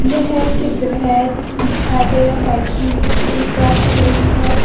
यह एक चित्र है जिसमें दिखाया गया है कि स्कूल क्लास चल रही है।